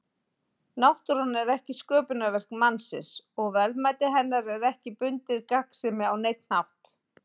Náttúran er ekki sköpunarverk mannsins og verðmæti hennar er ekki bundið gagnsemi á neinn hátt.